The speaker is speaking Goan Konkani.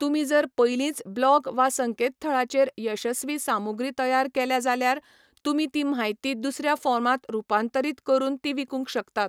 तुमी जर पयलींच ब्लॉग वा संकेतथळाचेर यशस्वी सामुग्री तयार केल्या जाल्यार, तुमी ती म्हायती दुसऱ्या फॉर्मांत रुपांतरीत करून ती विकूंक शकतात.